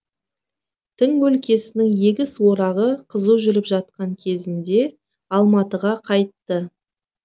тың өлкесінің егіс орағы қызу жүріп жатқан кезінде алматыға қайтты